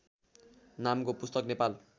नामको पुस्तक नेपाल